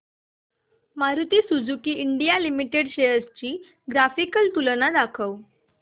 Maruti Suzuki India Limited shares ची graphical तुलना दाखव